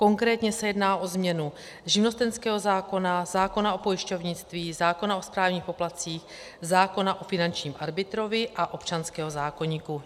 Konkrétně se jedná o změnu živnostenského zákona, zákona o pojišťovnictví, zákona o správních poplatcích, zákona o finančním arbitrovi a občanského zákoníku.